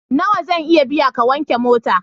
Nawa zan iya biya ka wanke mota?